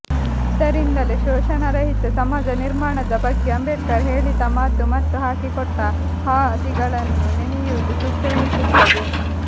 ಆದ್ದರಿಂದಲೇ ಶೋಷಣಾರಹಿತ ಸಮಾಜ ನಿರ್ಮಾಣದ ಬಗ್ಗೆ ಅಂಬೇಡ್ಕರ್ ಹೇಳಿತ ಮಾತು ಮತ್ತು ಹಾಕಿಕೊಟ್ಟ ಹಾದಿಗಳನ್ನು ನೆನೆಯುವುದು ಸೂಕ್ತವೆನಿಸುತ್ತದೆ